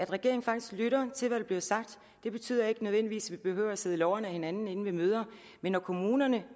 regeringen faktisk lytter til hvad der bliver sagt det betyder ikke nødvendigvis at vi behøver at sidde lårene af hinanden ved møder men når kommunerne